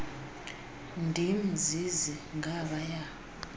ndim zizi ngabaya